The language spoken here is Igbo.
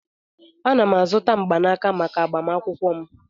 Ana m azụta mgbanaka maka agbamakwụkwọ m.